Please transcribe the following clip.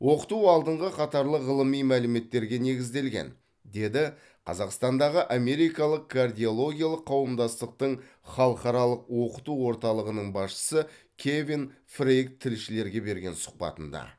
оқыту алдыңғы қатарлы ғылыми мәліметтерге негізделген деді қазақстандағы америкалық кардиологиялық қауымдастықтың халықаралық оқыту орталығының басшысы кевин фрейк тілшілерге берген сұхбатында